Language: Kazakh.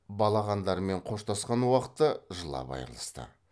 балағандармен қоштасқан уақытта жылап айрылысты